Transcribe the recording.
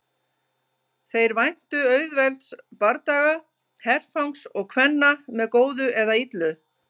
Þeir væntu auðvelds bardaga, herfangs og kvenna með góðu eða illu.